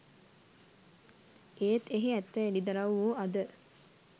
එත් එහි ඇත්ත එළිදරවු වූ අද